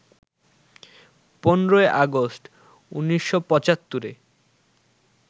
১৫ August ১৯৭৫-এ